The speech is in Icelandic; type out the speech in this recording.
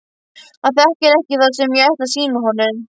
Hann þekkir ekki það sem ég ætla að sýna honum.